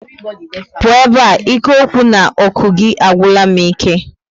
Pụọ ebe a! ike okwu na oku gị agwula m ike